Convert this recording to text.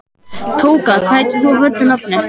Tóka, hvað heitir þú fullu nafni?